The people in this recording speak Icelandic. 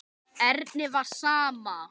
Erni var sama.